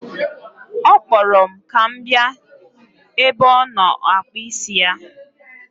Ọ kpọrọ m ka m bịa ebe ọ nọ akpụ isi ya.